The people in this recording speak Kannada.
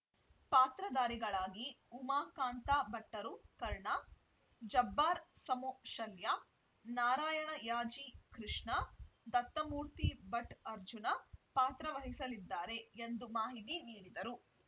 ಪಾತ್ರದಾರಿಗಳಾಗಿ ಉಮಾಕಾಂತ ಭಟ್ಟರುಕರ್ಣ ಜಬ್ಬಾರ್‌ ಸಮೋಶಲ್ಯ ನಾರಾಯಣ ಯಾಜಿಕೃಷ್ಣ ದತ್ತಮೂರ್ತಿ ಭಟ್‌ಅರ್ಜುನ ಪಾತ್ರವಹಿಸಲಿದ್ದಾರೆ ಎಂದು ಮಾಹಿತಿ ನೀಡಿದರು